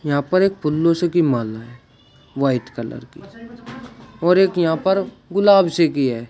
यहां पर एक फूलों सी की माला है वाइट कलर की और एक यहां पर गुलाब सी की है।